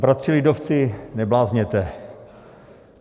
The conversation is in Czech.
Bratři lidovci, neblázněte.